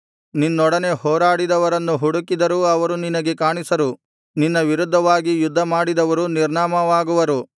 ನಿನ್ನೊಡನೆ ಹೋರಾಡಿದವರನ್ನು ಹುಡುಕಿದರೂ ಅವರು ನಿನಗೆ ಕಾಣಿಸರು ನಿನ್ನ ವಿರುದ್ಧವಾಗಿ ಯುದ್ಧ ಮಾಡಿದವರು ನಿರ್ನಾಮವಾಗುವರು